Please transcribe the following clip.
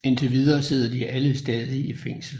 Indtil videre sidder de alle stadig i fængsel